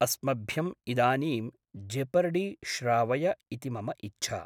अस्मभ्यम् इदानीं जेपर्डी श्रावय इति मम इच्छा।